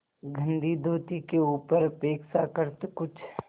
गंदी धोती के ऊपर अपेक्षाकृत कुछ